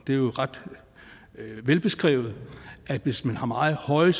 er jo ret velbeskrevet at hvis man har meget høje